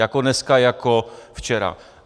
Jako dneska, jako včera.